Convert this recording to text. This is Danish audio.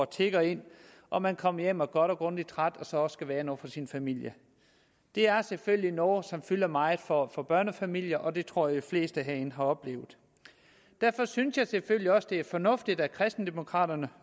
tikker ind og man kommer hjem og er godt og grundigt træt og så også skal være noget for sin familie det er selvfølgelig noget som fylder meget for for børnefamilier det tror jeg de fleste herinde har oplevet derfor synes jeg selvfølgelig også det er fornuftigt at kristendemokraterne